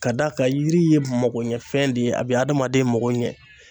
Ka d'a kan yiri ye makoɲɛfɛn de ye a bɛ adamaden mako ɲɛ.